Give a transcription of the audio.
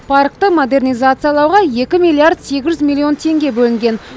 паркті модернизациялауға екі миллиард сегіз жүз миллион теңге бөлінген